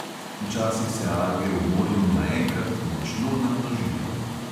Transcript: Včasih se alge v morju naenkrat močno namnožijo.